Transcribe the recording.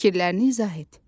Fikirlərini izah et.